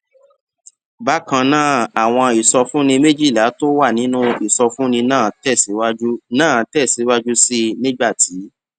bákan náà àwọn ìsọfúnni méjìlá tó wà nínú ìsọfúnni náà tẹ síwájú náà tẹ síwájú sí i nígbà tí